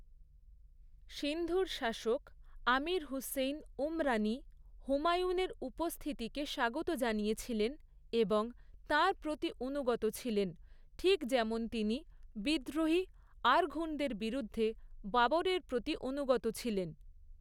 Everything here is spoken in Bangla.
সিন্ধুর শাসক, আমির হুসেইন উমরানী, হুমায়ুনের উপস্থিতিকে স্বাগত জানিয়েছিলেন এবং তাঁর প্রতি অনুগত ছিলেন, ঠিক যেমন তিনি, বিদ্রোহী আরঘুনদের বিরুদ্ধে বাবরের প্রতি অনুগত ছিলেন।